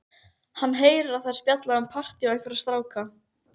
Hann heyrir að þær spjalla um partí og einhverja stráka.